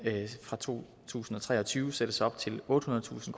fra to tusind og tre og tyve sættes det op til ottehundredetusind